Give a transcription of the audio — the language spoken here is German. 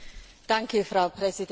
Frau Präsidentin!